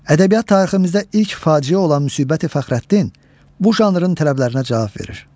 Ədəbiyyat tariximizdə ilk faciə olan Müsbəti Fəxrəddin bu janrın tələblərinə cavab verir.